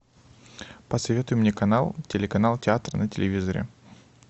посоветуй мне канал телеканал театр на телевизоре